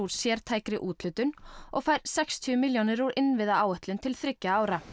sértækri úthlutun og fær sextíu milljónir úr innviðaáætlun til þriggja ára